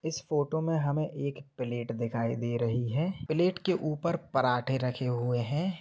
इस फोटो में हमें एक प्लेट दिखाई दे रही है प्लेट के ऊपर पराठे रखे हुए हैं।